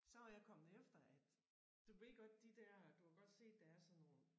Så var jeg kommet efter at du ved godt de der du har godt set der er sådan nogle